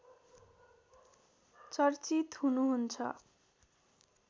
चर्चित हुनुहुन्छ